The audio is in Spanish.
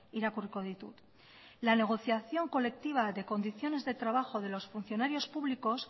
irakurriko ditut la negociación colectiva de condiciones de trabajo de los funcionarios públicos